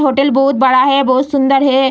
Hotel बहुत बड़ा है बहुत सुंदर है।